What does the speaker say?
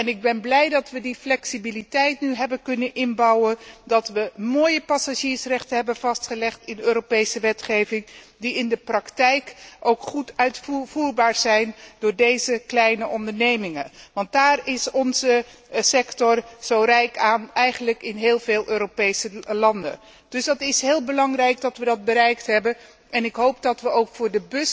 Ik ben blij dat we die flexibiliteit nu hebben kunnen inbouwen en dat we mooie passagiersrechten hebben vastgelegd in Europese wetgeving die in de praktijk ook goed uitvoerbaar zijn door deze kleine ondernemingen, want daaraan is onze sector zo rijk in eigenlijk heel veel Europese landen. Dus het is heel belangrijk dat we dat bereikt hebben en ik hoop dat we binnenkort ook